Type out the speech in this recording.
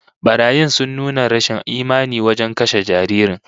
Barayin sun nuna rashin imani wajen kashe jaririn